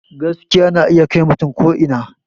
Gaskiya na iya kai mutum ko ina